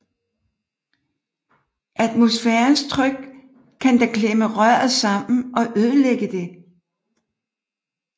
Atmosfærens tryk kan da klemme røret sammen og ødelægge det